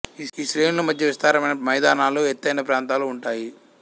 ఈ శ్రేణుల మధ్య విస్తారమైన మైదానాలు ఎత్తైన ప్రాంతాలు ఉంటాయి